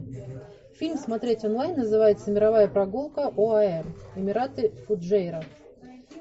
фильм смотреть онлайн называется мировая прогулка оаэ эмираты фуджейра